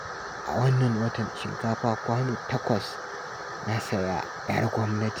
A wannan watan shinkafa kwano takwas na saya 'yar gwamnati